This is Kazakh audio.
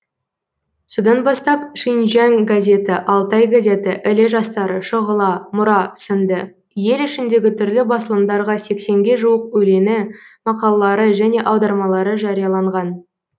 содан бастап шинжяң газеті алтай газеті іле жастары шұғыла мұра сынды ел ішіндегі түрлі басылымдарға сексенге жуық өлеңі мақалалары және аудармалары жарияланған